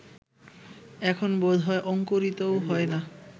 এখন বোধ হয় অঙ্কুরিতও হয় না